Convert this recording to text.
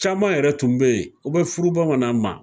Caman yɛrɛ tun be yen u bɛ furu bamanan ma